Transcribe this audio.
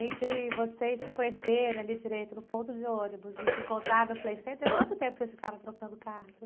Entre vocês se conhecerem ali direito no ponto de ônibus e se encontrar no Playcenter, quanto tempo vocês ficaram trocando cartas?